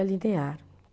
A linear